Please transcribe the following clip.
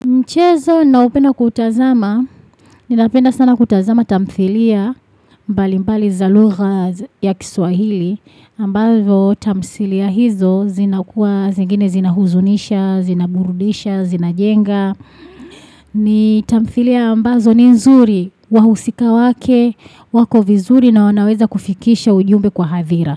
Mchezo naopenda kuutazama, ni napenda sana kutazama tamthilia mbali mbali za lugha ya kiswahili, ambazo tamthilia hizo zina kuwa, zingine zina huzunisha, zina burudisha, zina jenga. Ni tamthilia ambazo ni nzuri, wahusika wake, wako vizuri na wanaweza kufikisha ujumbe kwa hadhira.